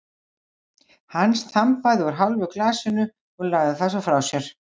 Hann þambaði úr hálfu glasinu og lagði það svo frá sér.